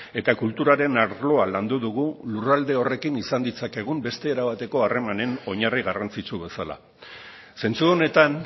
eta kulturaren arloa landu dugu lurralde horrekin izan ditzakegun beste era bateko harremanen oinarri garrantzitsu bezala zentzu honetan